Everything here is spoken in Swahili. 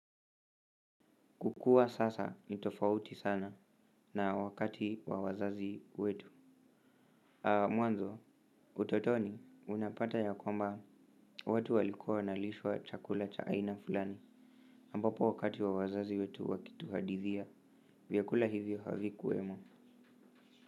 Kukua sasa ni tofauti sana na wakati wa wazazi wetu Mwanzo utotoni unapata ya kwamba watu walikua wanalishwa chakula cha aina fulani ambapo wakati wa wazazi wetu wakituhadithia vyakula hivyo havikuwemo.